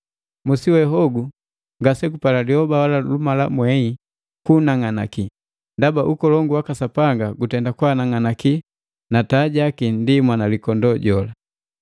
Musi we hogu ngase gupala lyoba wala lubalamwei kuunang'anaki, ndaba ukolongu waka Sapanga utenda kwaanang'anakia, na taa jaki ndi Mwanalikondoo jola.